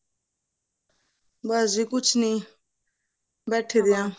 ਬਸ ਜੀ ਕੁੱਛ ਨਹੀਂ ਬੈਠੇ ਪਏ ਹਾਂ